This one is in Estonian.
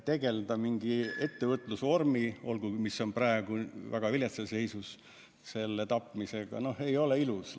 Tappa mingit ettevõtlusvormi – olgugi sellist, mis on praegu väga viletsas seisus – ei ole ilus.